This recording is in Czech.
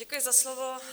Děkuji za slovo.